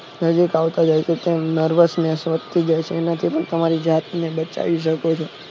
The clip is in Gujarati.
નજીક આવતા જાય છે તેમ nervous તમે તમારી જાતને બતાવી શકો છો